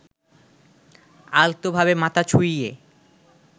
আলতোভাবে মাথা ছুঁইয়ে